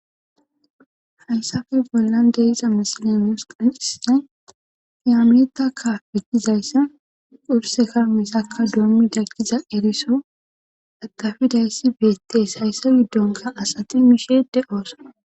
hayssape bollan de7iza misile nus qoncisizay meetakka petizayssa urseka misaka doommi dagkiza eriso dagafidayssi beettees hayssa giddonka asati miisheede oosa.